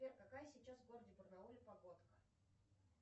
сбер какая сейчас в городе барнауле погодка